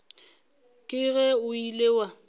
ke ge o ile wa